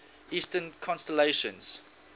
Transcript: eastern constellations